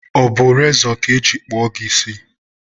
ọ bụ rezọ ka e jiri kpụọ gị isi?